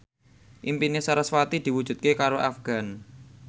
impine sarasvati diwujudke karo Afgan